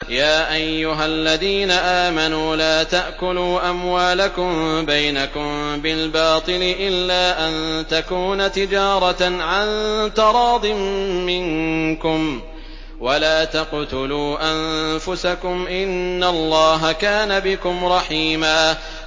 يَا أَيُّهَا الَّذِينَ آمَنُوا لَا تَأْكُلُوا أَمْوَالَكُم بَيْنَكُم بِالْبَاطِلِ إِلَّا أَن تَكُونَ تِجَارَةً عَن تَرَاضٍ مِّنكُمْ ۚ وَلَا تَقْتُلُوا أَنفُسَكُمْ ۚ إِنَّ اللَّهَ كَانَ بِكُمْ رَحِيمًا